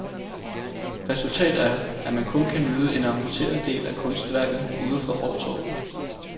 Resultat er, at man kun kan nyde en amputeret del af kunstværket udefra fortovet.